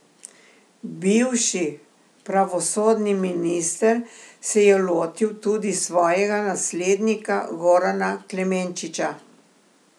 Bivši pravosodni minister se je lotil tudi svojega naslednika Gorana Klemenčiča.